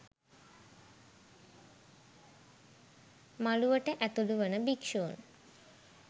මළුවට ඇතුලු වන භික්ෂූන්